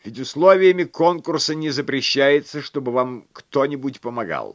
ведь условиями конкурса не запрещается чтобы вам кто-нибудь помогал